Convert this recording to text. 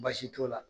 Baasi t'o la